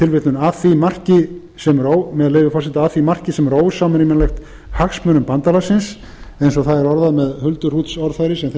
tilvitnun með leyfi forseta að því marki sem er ósamrýmanlegt hagsmunum bandalagsins eins og það er orðað með hulduhrútsorðfæri sem þeim